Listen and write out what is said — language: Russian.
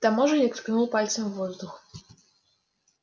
таможенник ткнул пальцем в воздух